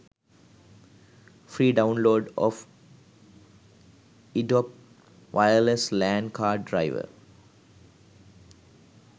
free download of edup wireless lan card driver